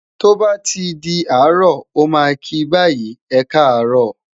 to ba ti di aro, o ma ki bayi, e ka arọ,